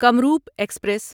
Kamrup express